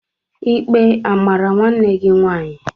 Ikpe amara nwanne gị nwaanyị?